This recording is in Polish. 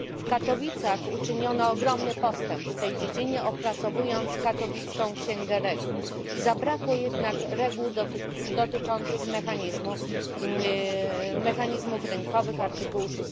W Katowicach poczyniono ogromny postęp w tej dziedzinie, opracowując Katowicką Księgę Reguł, zabrakło jednak reguł dotyczących mechanizmów rynkowych przewidzianych w art.